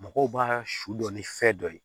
Mɔgɔw b'a su dɔn ni fɛn dɔ ye